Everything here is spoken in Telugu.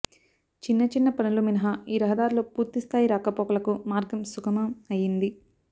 చిన్న చిన్న పనులు మినహా ఈ రహదారిలో పూర్తిస్థాయి రాకపోకలకు మార్గం సుగమం అయ్యింది